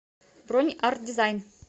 бронь арт дизайн